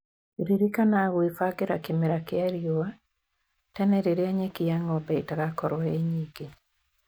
Ririkana gwĩbangĩra kĩmera kĩa riũa tene rĩrĩa nyeki ya ng'ombe ĩtagakorwo ĩi nyingĩ